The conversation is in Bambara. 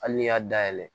Hali n'i y'a dayɛlɛ